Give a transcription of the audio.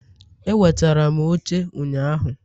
Ewetara m oche ụnyaahụ